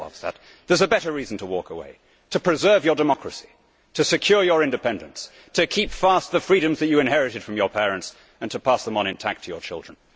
No, Mr Verhofstadt, there is a better reason to walk away to preserve your democracy, to secure your independence, to keep fast the freedoms that you inherited from your parents and to pass them on intact to your children.